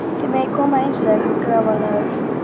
Þið megið koma inn, sagði hann grafalvarlegur.